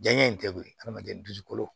Janɲɛ in tɛ koyi hadamaden dusukolo